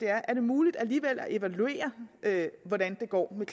er muligt at evaluere hvordan det går med